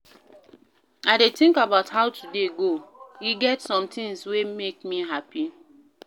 I dey tink about how today go, e get some tins wey make me hapi.